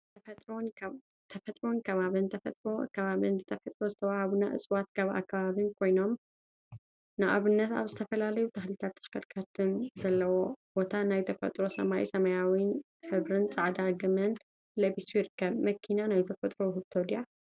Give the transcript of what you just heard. ተፈጥሮን አከባቢን ተፈጥሮን አከባቢን ብተፈጥሮ ዝተወሃቡና እፅዋትን አከባቢን ኮይኖም፤ ንአብነት አብ ዝተፈላለዩ ተክሊታትን ተሽከርካሪትን ዘለዎ ቦታ ናይ ተፈጥሮ ሰማይ ሰማያዊ ሕብሪን ፃዐዳ ግመን ለቢሱ ይርከብ፡፡ መኪና ናይ ተፈጥሮ ውህብቶ ድያ?